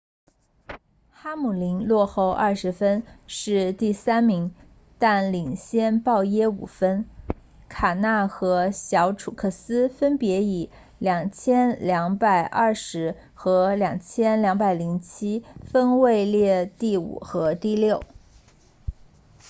哈姆林落后二十分是第三名但领先鲍耶五分卡纳 kahne 和小楚克斯 truex jr 分别以 2,220 和 2,207 分位列第五和第六